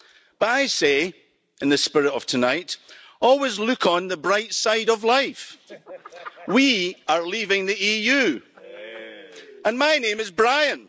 But I say, in the spirit of tonight, always look on the bright side of life. We are leaving the EU. And my name is Brian.